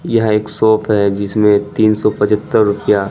यह एक शॉप है जिसमें तीन सौ पचहत्तर रुपया--